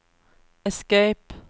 escape